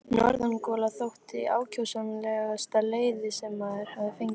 Norðangola þótti ákjósanlegasta leiði sem maður gat fengið.